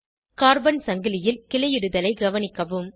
carbon சங்கிலியில் கிளையிடுதலை கவனிக்கவும்